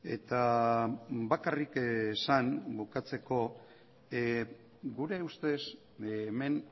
eta bakarrik esan bukatzeko gure ustez hemen